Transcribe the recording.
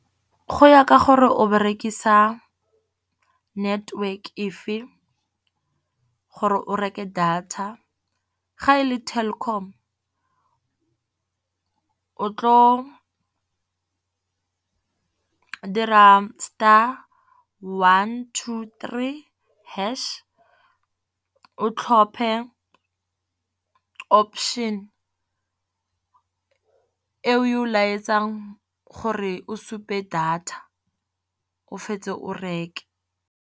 Go ya ka gore o berekisa network efe gore o reke data, ga e le Telkom o tlo dira star one two three hash, o tlhophe option e o e go laetsang gore o supe data o fetse o reke.